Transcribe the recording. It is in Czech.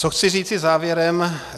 Co chci říci závěrem.